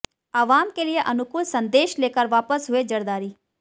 अवाम के लिये अनुकूल संदेश लेकर वापस हुए जरदारी